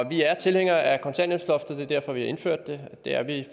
vi er tilhængere af kontanthjælpsloftet det er derfor vi har indført det det er vi